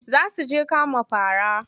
Za su je kama fara.